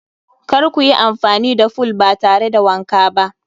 Kar kuyi amfani da fool ba tare da wanka ba.